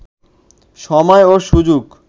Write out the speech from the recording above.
সময় ও সুযোগ